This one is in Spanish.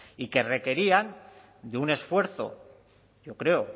y que requerían de un esfuerzo yo creo